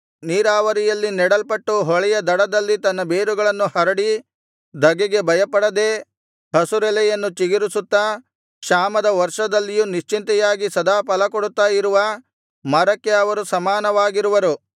ನೀರಾವರಿಯಲ್ಲಿ ನೆಡಲ್ಪಟ್ಟು ಹೊಳೆಯ ದಡದಲ್ಲಿ ತನ್ನ ಬೇರುಗಳನ್ನು ಹರಡಿ ಧಗೆಗೆ ಭಯಪಡದೆ ಹಸುರೆಲೆಯನ್ನು ಚಿಗುರಿಸುತ್ತಾ ಕ್ಷಾಮದ ವರ್ಷದಲ್ಲಿಯೂ ನಿಶ್ಚಿಂತೆಯಾಗಿ ಸದಾ ಫಲಕೊಡುತ್ತಾ ಇರುವ ಮರಕ್ಕೆ ಅವರು ಸಮಾನವಾಗಿರುವರು